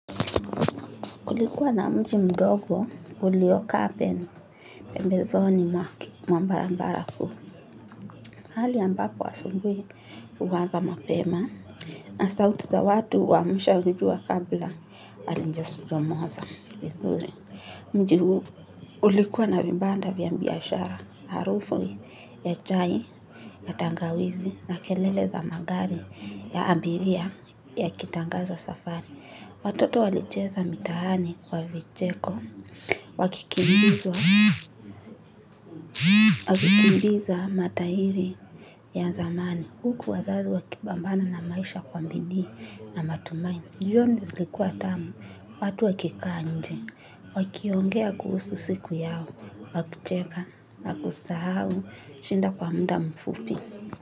Kulikuwa na mji mdogo uliokaa pembezoni mwake mwa barabara kuu. Hali ambapo asubuhi huanza mapema na sauti za watu huamsha hili jua kabla halijachomoza vizuri. Mji huu ulikuwa na vibanda vya biashara harufu ya chai, na tangawizi na kelele za magari ya abiria yakitangaza safari. Watoto walicheza mitaani kwa vicheko, wakikimbiza matahiri ya zamani, huku wazazi wakipambana na maisha kwa bidii na matumani, jioni lilikuwa tamu, watu wakikaa nje, wakiongea kuhusu siku yao, wakicheka na kusahau, shida kwa muda mfupi.